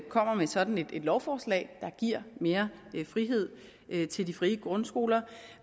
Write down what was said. kommer med sådan et lovforslag der giver mere frihed til de frie grundskoler